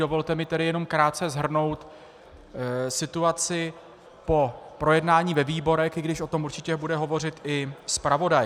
Dovolte mi tedy jen krátce shrnout situaci po projednání ve výborech, i když o tom určitě bude hovořit i zpravodaj.